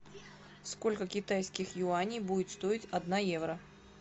сколько китайских юаней будет стоить одна евро